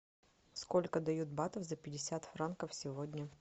сколько дают батов за пятьдесят франков сегодня